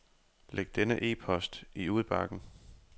Læg denne e-post i udbakken.